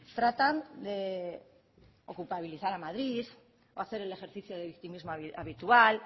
tratan de o culpabilizar a madrid o hacer el ejercicio de victimismo habitual